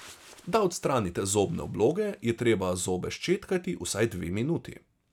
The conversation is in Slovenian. Da odstranite zobne obloge, je treba zobe ščetkati vsaj dve minuti.